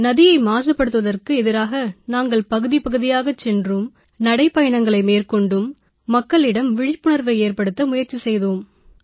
நதியை மாசுபடுத்துவதற்கு எதிராக நாங்கள் பகுதி பகுதியாகச் சென்றும் நடைபயணங்களை மேற்கொண்டும் மக்களிடம் விழிப்புணர்வை ஏற்படுத்த முயற்சி செய்தோம்